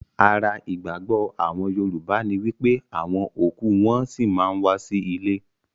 Ara ìgbàgbọ́ àwọn Yorùbá ní wípé àwọn òkú wọn-ọn sí ma ń wá sí ilé